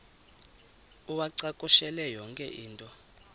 uwacakushele yonke into